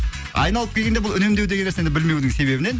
айналып келгенде бұл үнемдеу деген нәрсені білмеудің себебінен